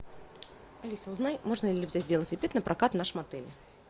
алиса узнай можно ли взять велосипед напрокат в нашем отеле